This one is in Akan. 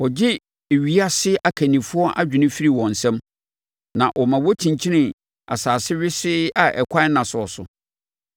Ɔgye ewiase akannifoɔ adwene firi wɔn nsam; na ɔma wɔkyinkyini asase wesee a ɛkwan nna soɔ so.